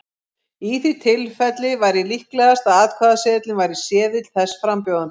Í því tilfelli væri líklegast að atkvæðaseðilinn væri seðill þess frambjóðanda.